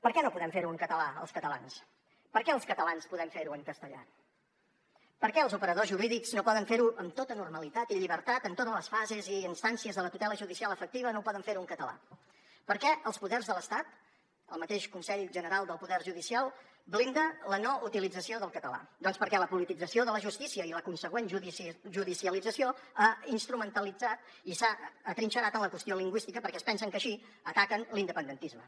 per què no podem fer ho en català els catalans per què els catalans podem ferho en castellà per què els operadors jurídics no poden fer ho amb tota normalitat i llibertat en totes les fases i instàncies de la tutela judicial efectiva en català per què els poders de l’estat el mateix consell general del poder judicial blinda la no utilització del català doncs perquè la politització de la justícia i la consegüent judicialització han instrumentalitzat i s’han atrinxerat en la qüestió lingüística perquè es pensen que així ataquen l’independentisme